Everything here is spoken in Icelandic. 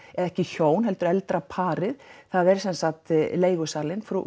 ekki hjón eldra eldra parið það er sem sagt leigusalinn frú